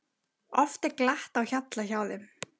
Oft er glatt á hjalla hjá þeim.